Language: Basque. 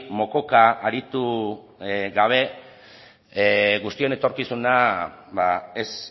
mokoka aritu gabe guztion etorkizuna ba ez